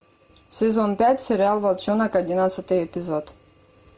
сезон пять сериал волчонок одиннадцатый эпизод